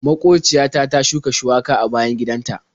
Maƙociya ta ta shuka shuwaka a bayan gidan ta.